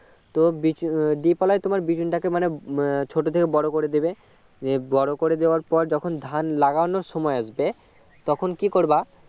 তো বুচি উম deep ওলাই তোমার বিচুনটাকে মানে ছোট থেকে বড় করে দেবে বড়ো করে দেওয়ার পর যখন ধান লাগানোর সময় আসবে তখন কী করবে